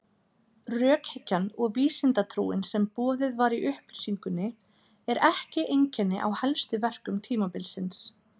Rökhyggjan og vísindatrúin sem boðuð var í upplýsingunni er ekki einkenni á helstu verkum tímabilsins.